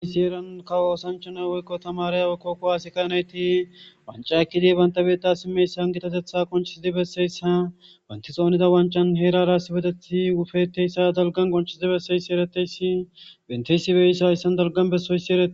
isi heran ka oosanchana woykko tamarey ykkokko aasika nayti wancakkidi bantabeta simmeyssan gitatetha qonchiside besseyssa banti xoonida wancan heerara sibeteti wufeteyssa dalgan qonchiside besseyssi ereteyssi benteysibeyissa hayssan dalgan bessoyssi ereti